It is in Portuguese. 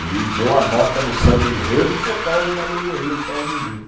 Ele deu a nota no samba-enredo por causa da alegoria que estava bonita.